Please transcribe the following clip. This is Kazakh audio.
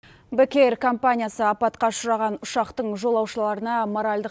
бек эйр компаниясы апатқа ұшыраған ұшақтың жолаушыларына моральдық